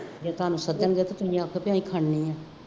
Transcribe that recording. ਜੇ ਤੁਹਾਨੂੰ ਸੱਦਣਗੇ ਤੁਸੀਂ ਆਖੋਗੇ ਅਸੀਂ ਖਾਣੀ ਨਹੀਂ